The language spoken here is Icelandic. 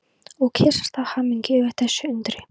Og kyssast af hamingju yfir þessu undri.